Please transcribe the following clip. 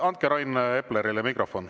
Andke Rain Eplerile mikrofon.